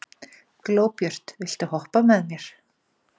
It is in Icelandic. Glóbjört, viltu hoppa með mér?